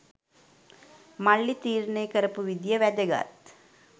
මල්ලි තීරණය කරපු විදිය වැදගත්.